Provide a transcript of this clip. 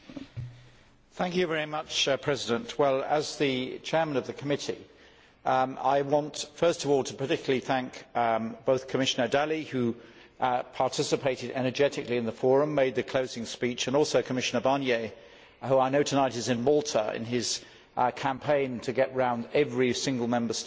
Mr President, as Chairman of the Committee I want first of all to particularly thank both Commissioner Dalli who participated energetically in the Forum and made the closing speech, and also Commissioner Barnier who I know tonight is in Malta in his campaign to get round every single Member State and discuss the single market.